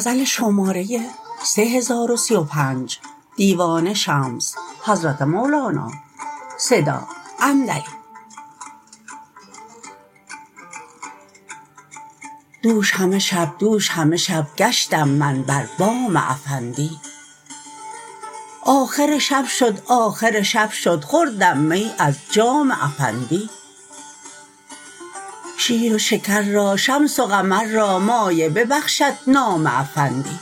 دوش همه شب دوش همه شب گشتم من بر بام افندی آخر شب شد آخر شب شد خوردم می از جام افندی شیر و شکر را شمس و قمر را مایه ببخشد نام افندی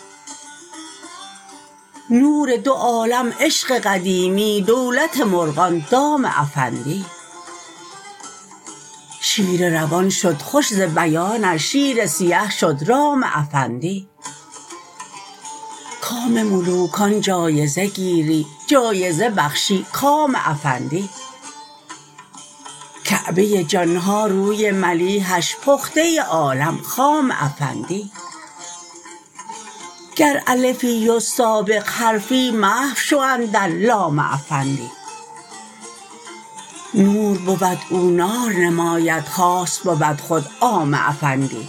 نور دو عالم عشق قدیمی دولت مرغان دام افندی شیر روان شد خوش ز بیانش شیر سیه شد رام افندی کام ملوکان جایزه گیری جایزه بخشی کام افندی کعبه جان ها روی ملیحش پخته عالم خام افندی گر الفی و سابق حرفی محو شو اندر لام افندی نور بود او نار نماید خاص بود خود عام افندی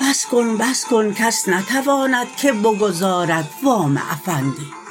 بس کن بس کن کس نتواند که بگزارد وام افندی